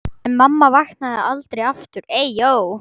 En mamma vaknaði aldrei aftur.